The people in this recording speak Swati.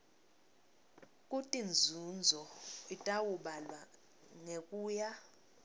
kutinzunzo itawubalwa ngekuya